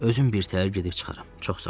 Özüm birtəhər gedib çıxaram.